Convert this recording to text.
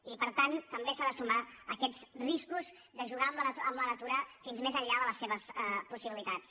i per tant també s’han de sumar aquests riscos de jugar amb la natura fins més enllà de les seves possibilitats